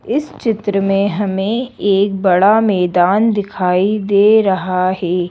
इस चित्र में हमें एक बड़ा मैदान दिखाई दे रहा है।